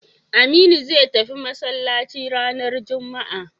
Aminu zai tafi masallaci ranar juma'a